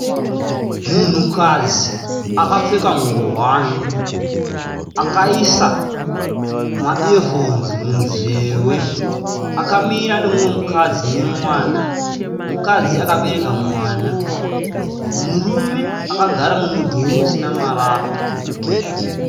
Munhukadzi akapfeka nguwani akaisa maiyefonzi munzeve akamira neumwe mukadzi nemwana. Mukadzi akabereka mwana. Murume akagara mumudhuri usina marata.